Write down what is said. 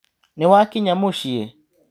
Nĩwakinya mũcĩĩ?